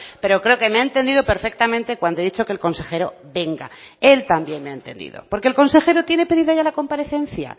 pero creo que me ha entendido perfectamente cuando he dicho que el consejero venga él también me ha entendido porque el consejero tiene pedido ya la comparecencia